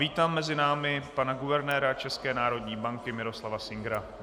Vítám mezi námi pana guvernéra České národní banky Miroslava Singera.